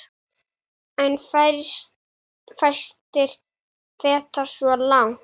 En fæstir feta svo langt.